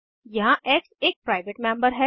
यहाँ एक्स एक private member है